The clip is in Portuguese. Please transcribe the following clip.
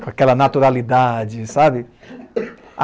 com aquela naturalidade, sabe?